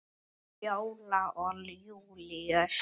Fjóla og Júlíus.